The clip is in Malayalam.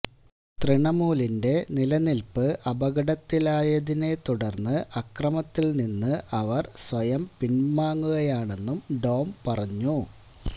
തൃണമൂലിന്റെ നിലനില്പ്പ് അപകടത്തിലായതിനെ തുടര്ന്ന് അക്രമത്തില്നിന്ന് അവര് സ്വയം പിന്വാങ്ങുകയാണെന്നും ഡോം പറഞ്ഞു